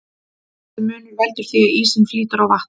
Þessi munur veldur því að ísinn flýtur á vatni.